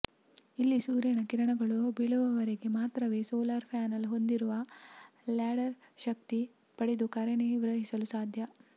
ಇಲ್ಲಿ ಸೂರ್ಯನ ಕಿರಣಗಳು ಬೀಳುವವರೆಗೆ ಮಾತ್ರವೇ ಸೋಲಾರ್ ಪ್ಯಾನಲ್ ಹೊಂದಿರುವ ಲ್ಯಾಂಡರ್ ಶಕ್ತಿ ಪಡೆದು ಕಾರ್ಯನಿರ್ವಹಿಸಲು ಸಾಧ್ಯ